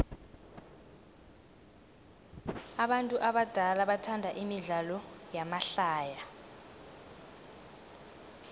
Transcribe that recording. abantu abadala bathanda imidlalo yamahlaya